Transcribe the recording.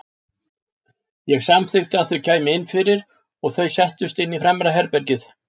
Ég samþykkti að þau kæmu inn fyrir og þau settust inn í fremra herbergið.